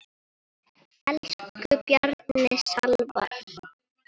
Elsku Bjarni Salvar.